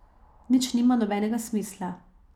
Nič nima nobenega smisla.